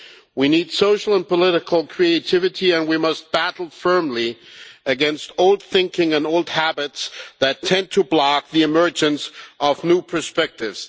We need social and political creativity and we must battle firmly against old thinking and old habits that tend to block the emergence of new perspectives.